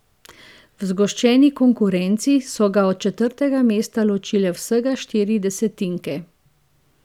V zgoščeni konkurenci so ga od četrtega mesta ločile vsega štiri desetinke.